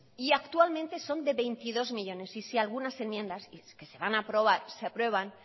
y actualmente son de veintidós millónes y si algunas enmiendas de las que se van a aprobar se aprueban